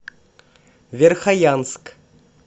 верхоянск